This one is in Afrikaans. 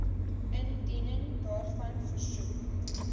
indiening daarvan versoek